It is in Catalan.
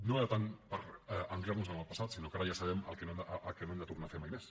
no era tant per ancorar nos en el passat sinó que ara ja sabem el que no hem de tornar a fer mai més